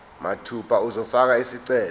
mathupha uzofaka isicelo